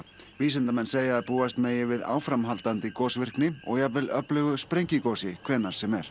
vísindamenn segja að búast megi við áframhaldandi og jafnvel öflugu sprengigosi hvenær sem er